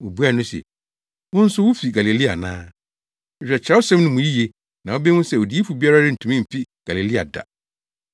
Wobuaa no se, “Wo nso wufi Galilea ana? Hwehwɛ Kyerɛwsɛm no mu yiye na wubehu sɛ odiyifo biara rentumi mfi Galilea da.”